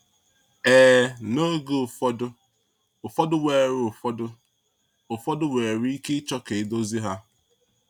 Ee, n’oge ụfọdụ, ụfọdụ nwere ụfọdụ, ụfọdụ nwere ike ịchọ ka edozi ha.